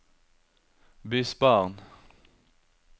bysbarn